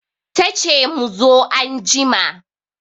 Tace mu zo anjima